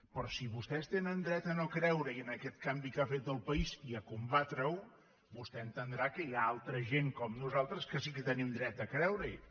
però si vostès tenen dret a no creurehi en aquest canvi que ha fet el país i a combatre’l vostè ha d’entendre que hi ha altra gent com nosaltres que sí que tenim dret a creurehi